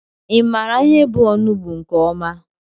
I maara ihe bụ ọnụgbu nke ọma?